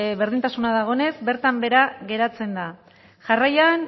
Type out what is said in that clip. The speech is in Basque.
berdintasuna dagoenez bertan behera geratzen da jarraian